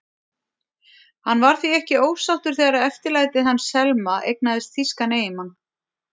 Hann var því ekki ósáttur þegar eftirlætið hans, Selma, eignaðist þýskan eiginmann.